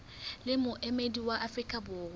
le moemedi wa afrika borwa